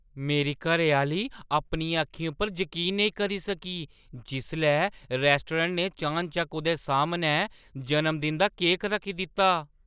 मेरी घरैआह्‌ली अपनियें अक्खियें पर जकीन नेईं करी सकी जिसलै रैस्टोरैंट ने चानचक्क उʼदे सामनै जनमदिन दा केक रक्खी दित्ता।